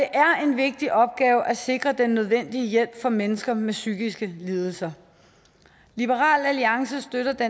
en vigtig opgave at sikre den nødvendige hjælp for mennesker med psykiske lidelser liberal alliance støtter det